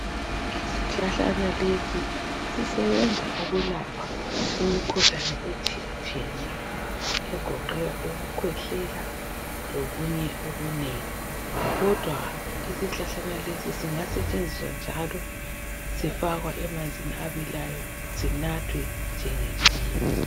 Isihlahlana lesi sisebenza ukulapha imkhuhlane etshiyatshiyeneyo egoqela ukukhwehlela, lokunye okunengi. Kodwa isihlahla lesi singasetshenziswa njalo sifakwa emanzini abilayo sinathwe njengetiye.